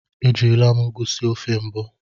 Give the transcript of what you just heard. Ejirila m ụgụ sie ofe mbụ.